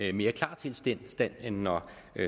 i mere klar tilstand end når